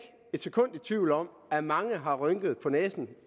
et sekund i tvivl om at mange har rynket på næsen